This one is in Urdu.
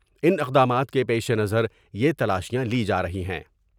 ان اقدامات کے پیش نظر یہ تلاشیاں لی جارہی ہیں ۔